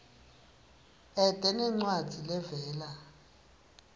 ete nencwadzi levela